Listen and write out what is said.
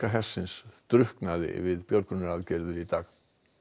hersins drukknaði við björgunaraðgerðir í dag